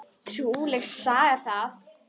Trúleg saga það!